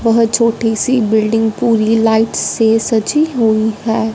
बहोत छोटी सी बिल्डिंग पुरी लाइट्स से सजी हुई है।